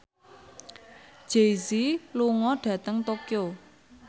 Jay Z lunga dhateng Tokyo